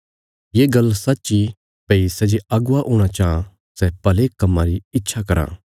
ये गल्ल सच्च इ भई सै जे अगुवा हूणा चां सै भले कम्मां री इच्छा कराँ